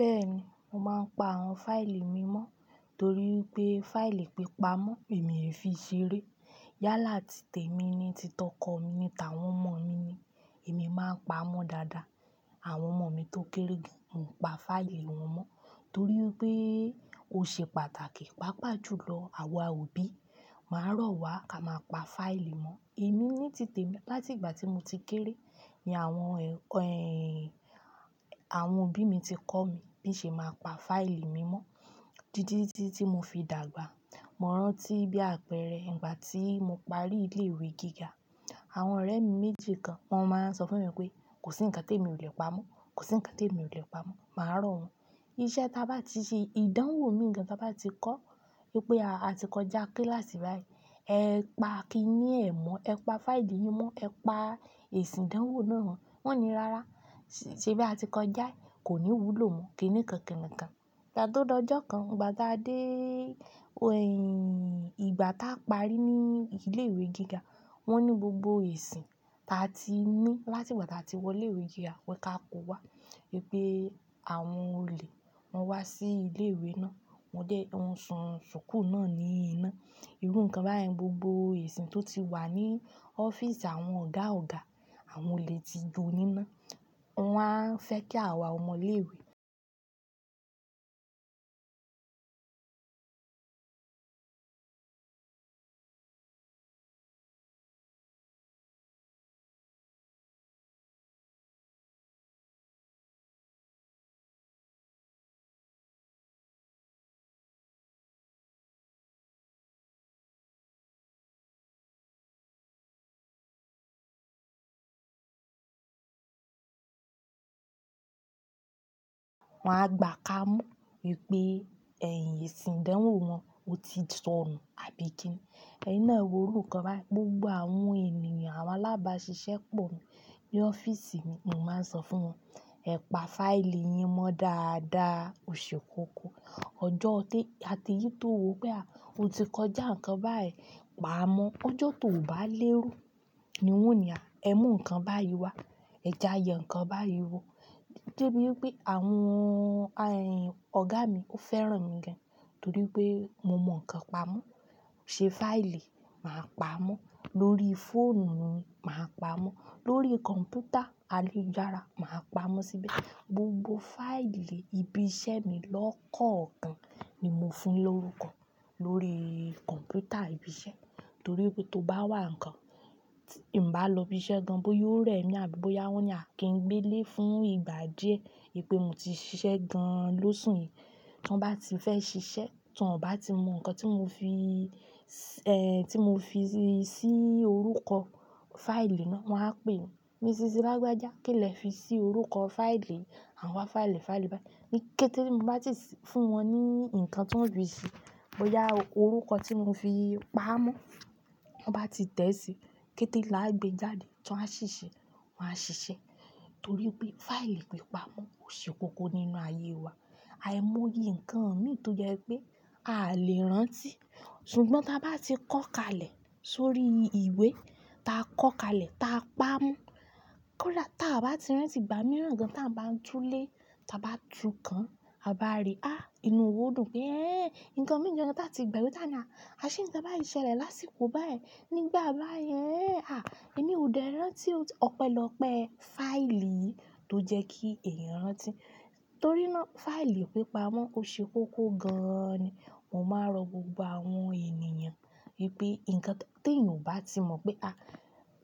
Bẹ́ẹ̀ni, mo máa ń pa àwọn fáìlì mi mọ́ torí pé fáìlì pípa mọ́ èmi e fii ṣeré. Yálà tí tèmi ni, ti tọkọ mi ni, t'awọn omọ̀ mi ni, èmi máa ń pa á mọ́ dáadáa. Àwọn ọmọ mi tó kéré gan, mo ń pa fáìlì wọn mọ́ torí wipé ó ṣe pàtàkì. Páapà jù lọ, àwa òbí, màá rọ̀ wá ká máa pa fáìlì mọ́. Èmi ní tìtẹ̀ mi láti ìgbà tí mo ti kéré ni àwọn Àwọn òbí mi ti kọ́ mi bí n ṣe máa pa fáìlì mi mọ́. Títí tí mo fi dàgbà, mo rántí bí àpẹẹrẹ ìgbà tí mo parí ilé ìwé gíga. Àwọn ọ̀rẹ́ mi méjì kan, wọ́n máa ń sọ fún mi pé kò sí ǹkan tí èmi ò lè pa mọ́, kò sí ǹkan tí èmi ò lè pa mọ́. Màá rọ̀ wọ́n. Iṣẹ́ ta bá ti ṣe, ìdánwò mii gan ta bá ti kọ́ wípé a ti kọjá kíláàsì báyìí, ẹ pa kíní ẹ̀ mọ́, ẹ pa fáìlì yín mọ́, ẹ pa èsì ìdánwò náà mo. Wọ́n o ní rárá, ṣe bí a ti kọjá, kò ní wúlò mọ́. Kí ni kan kini kan. Ìgbà tó dọjọ́ kan, igba ta a de. Ìgbà táa parí ní ilé ìwé gíga, wọ́n ní gbogbo èsì ta ti ní láti gbà tí a ti wọlé ìwé gíga wípé ká kọ wá wípé àwọn olè wọ́n wá sí ilé ìwé náà, wọ́n dẹ̀, won sun ṣùkúu náà ní iná. Irú ǹkan báyìí gbogbo èsì tó ti wà ní ọ́fíìsì àwọn ọ̀gá ọ̀gá, àwọn olè ti jọ níná. Wọ́n á fẹ́ kí àwa ọmọ ilé ìwé, Wọ́n á gbà kámu wípé, èsì ìdánwò wọn ò ti sọnù àbí kí ni. Ẹ̀yin náà e wọ́ru nkan beyen, gbogbo àwọn ènìyàn, àwọn alábàásisẹ́ pọ̀ ní ọ́fíìsì mi, mo máa ń sọ fún wọn, ẹ pa fáìlì yín mọ́ dáadáa, o ṣe kókó. Ọjọ́ tí a ti yí tó wopé ah o ti kọjá ǹkan báyìí, pa á mọ́. Ọjọ́ tó ò bá léro ni wọ́n o ni, ah ẹ mú ǹkan báyìí wá, ẹ ja yẹ nǹkan báyìí wò. Dé bí wípé àwọn ọ̀gá mi ó fẹ́ràn mi gan torí pé mo mọ̀ ǹkan pamọ́. Se fáìlì, màá pa a mọ́. Lórí fóònù mi, màá pa á mọ́. Lórí kọ̀m̀pútà ayelujára, màá pa á mọ́ síbẹ̀. Gbogbo fáìlì ibi iṣẹ́ mi lọ́kọ̀ọ̀kan ni mo fun lórúkọ lórí kọ̀m̀pútà ibi iṣẹ́ torí pé tó bá n wà ǹkan, ti n bá lọ ibi iṣẹ́ gan, bó yoó rẹ̀ mí àbí bóyá wọ́n ní à kí n gbé lé fún ìgbà díẹ̀ wípé mo ti ṣiṣẹ́ gan lóṣù yìí, tí wọ́n bá ti fẹ́ ṣiṣẹ́, tí wọ́n bá ti mọ ǹkan tí mo fi i, tí mo fi sí orúkọ. Fáìlì náà, wọ́n á pè mi, "Mi ṣìṣí, lágbájá, kí lẹ fi sí orúkọ fáìlì àwọn fáìlì fáìlì báyìí?" Ni kété mi bá ti fún wọn ní ǹkan tí wọ́n fì ṣi, bóyá orúkọ tí mo fi pa á mọ́, wọ́n bá ti tẹ̀ ẹ́ síi, kété lá a gbe jáde tí wọ́n á ṣì ṣe, wọ́n á ṣiṣẹ́. Torí pé fáìlì pípa mọ́ ó ṣe kókó nínú ayé wa. Aìmoye ǹkan mii tó jẹ́ pé aa lè rántí. Ṣùgbọ́n ta bá ti kọ́ kalẹ̀ sórí ìwé, ta kọ́ kalẹ̀, ta pa á mọ́. Kó dá ta bá ti rántí ìgbà mìíràn gan tí à ń bá tú lé, ta bá tu kan, a bá rí, ha, inú wòo dùn pé, 'Éh, ǹkan mìí gàn ta ti gbagbe tá ni ah, à ṣé ǹkan báyì ṣẹlẹ̀ lásìkò báyìí nígbà bá yii? Àh, èmi ò dẹ rántí o.' Ọ̀pẹlọ́pẹ́ fáìlì yi tó jẹ́ kí èeyàn rántí. Torí náà fáìlì pípa mọ́ ó ṣe kókó gan ni. Mo máa ń rọ gbogbo àwọn ènìyàn wípé ǹkan tí èèyàn ò bá ti mọ̀ pé, "À,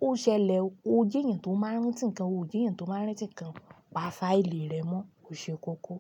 ó ṣẹlẹ̀ o, ó jeeyan tó máa ń rántí ǹkan o, o jeeyan tó máa ń rántí ǹkan, pa fáìlì rẹ mọ́, ó ṣe kókó.